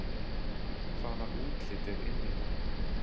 Hvaða útlit er inn í dag